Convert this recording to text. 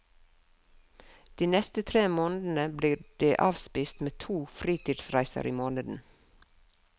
De neste tre månedene blir de avspist med to fritidsreiser i måneden.